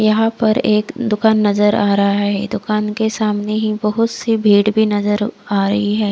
यहा पर एक दुकान नजर आ रहा है दुकान के सामने ही बहुत सी भीड़ भी नजर आ रही है।